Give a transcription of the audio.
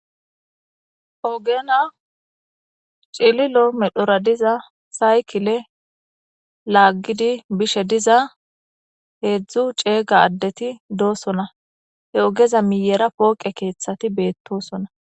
Oogena cililo medhora diza saykile laaggidi bishe diza heedzdzu ceega addeti doosona he ogeza miyera pooqe keeththati beettosona.